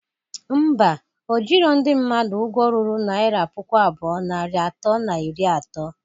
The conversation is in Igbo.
Ḿbà, ojiro ndị mmadụ ụgwọ ruru naira puku abụọ, narị atọ na iri ato